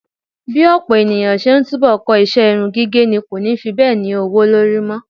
Bí ọ̀pọ̀ ènìyàn ṣe túbọ̀ ń kọ iṣẹ́ irun gígẹ̀ ni kò ni fi bẹ́ẹ̀ ní owó lórí mọ́.